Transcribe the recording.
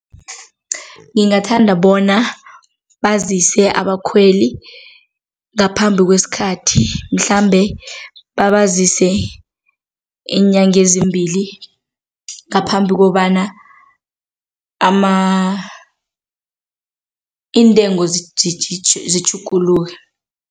Ngingathanda bona bazise abakhweli ngaphambi kwesikhathi mhlambe babazise iinyanga ezimbili ngaphambi kobana iintengo zitjhuguluke.